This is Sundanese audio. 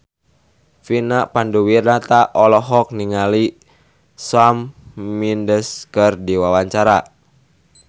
Vina Panduwinata olohok ningali Shawn Mendes keur diwawancara